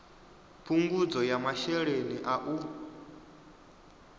phungudzo ya masheleni a u